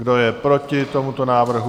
Kdo je proti tomuto návrhu?